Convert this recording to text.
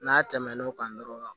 N'a tɛmɛn'o kan dɔrɔn